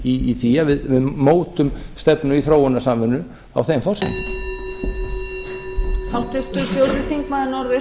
í því að við mótum stefnu í þróunarsamvinnu á þeim forsendum